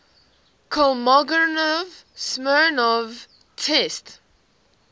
kolmogorov smirnov test